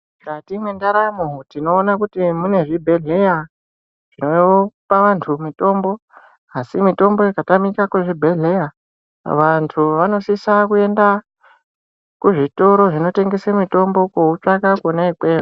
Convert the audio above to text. Mukati mwendaramo tinoona kuti munezvibhedhlera zvinopa vantu mitombo asi mitombo ikatamika muzvibhedhlera vantu vanosisa kuenda kuzvitoro zvinotengesa mitombo koutsvaka kwona ikweyo.